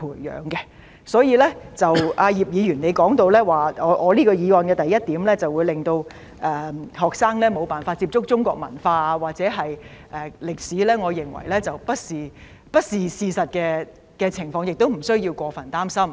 葉議員說，我原議案的第一點會令學生無法接觸中國文化和歷史，我認為不是事實，亦不需要過分擔心。